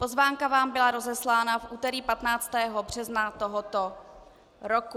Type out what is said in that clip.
Pozvánka vám byla rozeslána v úterý 15. března tohoto roku.